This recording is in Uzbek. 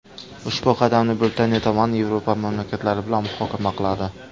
Ushbu qadamni Britaniya tomoni Yevropa mamlakatlari bilan muhokama qiladi.